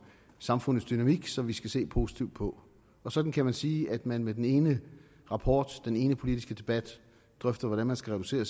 samfundets dynamik som vi skal se positivt på og sådan kan man sige at man med den ene rapport og den ene politiske debat drøfter hvordan man skal reducere